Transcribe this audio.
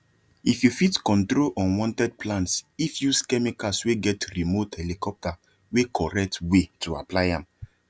if you fit control unwanted plants if use chemicals wey get remote helicopter wey correct way to apply am